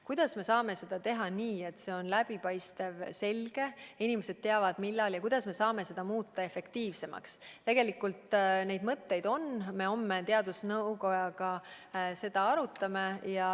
Kuidas me saame seda teha nii, et see on läbipaistev ja selge, et inimesed kõike vajalikku teavad, kuidas me saame seda muuta efektiivsemaks – kõiki neid mõtteid on ja homme me koos teadusnõukojaga seda arutame.